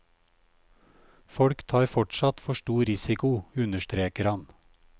Folk tar fortsatt for stor risiko, understreker han.